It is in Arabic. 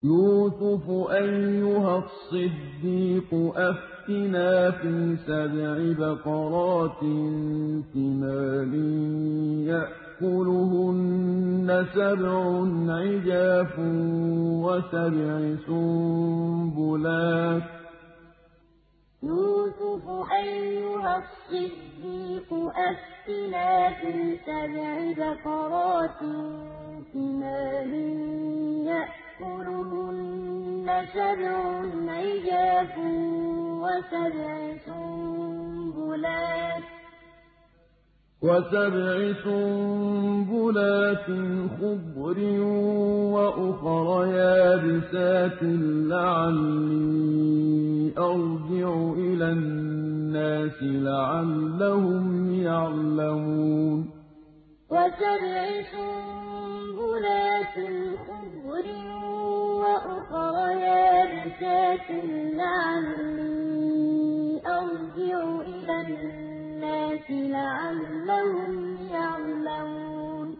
يُوسُفُ أَيُّهَا الصِّدِّيقُ أَفْتِنَا فِي سَبْعِ بَقَرَاتٍ سِمَانٍ يَأْكُلُهُنَّ سَبْعٌ عِجَافٌ وَسَبْعِ سُنبُلَاتٍ خُضْرٍ وَأُخَرَ يَابِسَاتٍ لَّعَلِّي أَرْجِعُ إِلَى النَّاسِ لَعَلَّهُمْ يَعْلَمُونَ يُوسُفُ أَيُّهَا الصِّدِّيقُ أَفْتِنَا فِي سَبْعِ بَقَرَاتٍ سِمَانٍ يَأْكُلُهُنَّ سَبْعٌ عِجَافٌ وَسَبْعِ سُنبُلَاتٍ خُضْرٍ وَأُخَرَ يَابِسَاتٍ لَّعَلِّي أَرْجِعُ إِلَى النَّاسِ لَعَلَّهُمْ يَعْلَمُونَ